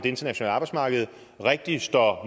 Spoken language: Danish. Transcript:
internationale arbejdsmarked rigtig står